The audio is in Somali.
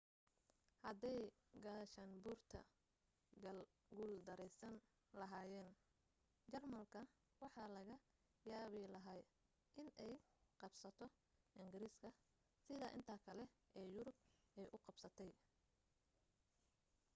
haday gaashaanbuurta guuldaraysan lahaayeen jarmalka waxaa laga yaabi lahaa inay qabsato ingiriiska sida inta kale ee yurub ay u qabsatay